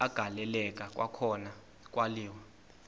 agaleleka kwakhona kwaliwa